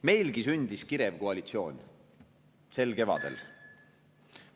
Meilgi sündis kirev koalitsioon sel kevadel.